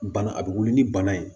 Bana a bɛ wuli ni bana ye